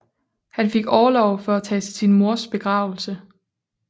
Han fik orlov for at tage til sin mors begravelse